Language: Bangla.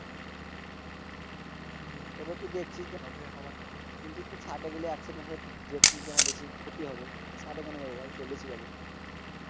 তবেতো দেখছি যে, কিন্তু তুর ষাট্রে গেলে Accident হবে আমার বেশি ক্ষতি হবে তো ষাট্রে কেন যাবো ভাই? চল্লিশে যাবো।